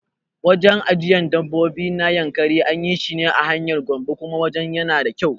Wajen ajiyan dabbobi na Yankari anyi shine a hanyar Gombe kuma wajen yana da kyau